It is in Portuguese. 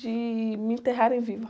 De me enterrarem viva.